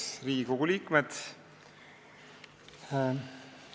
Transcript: Head Riigikogu liikmed!